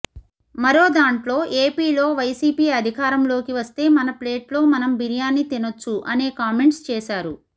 మరో దాంట్లో ఏపీలో వైసీపీ అధికారంలోకి వస్తే మన ప్లేట్లో మనం బిర్యానీ తినొచ్చు అనే కామెంట్స్ చేశారు